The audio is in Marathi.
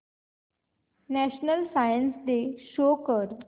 नॅशनल सायन्स डे शो कर